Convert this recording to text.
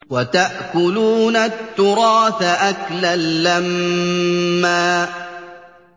وَتَأْكُلُونَ التُّرَاثَ أَكْلًا لَّمًّا